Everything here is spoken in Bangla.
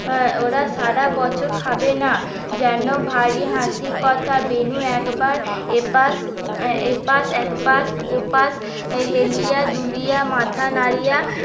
হ্যাঁ ওরা সারাবছর খাবে না যেন ভারী হাসির কথা বেনু একবার এপাশ এপাশ একপাশ ওপাশ এ হেলিয়া দুলিয়া মাথা নাড়িয়া